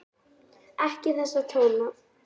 Ekki þessa tóna!